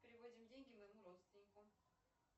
переводим деньги моему родственнику